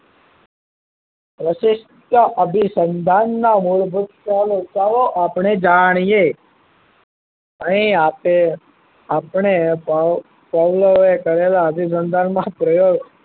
પ્રશિષ્ટ અભિસંધાન ના મૂળભૂતો આપને જાણીએ અહી આપે આપને પવ પાવલો એ કરેલા અનુસંધાન માં પ્રયોગ